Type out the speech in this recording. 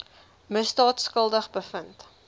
misdaad skuldig bevind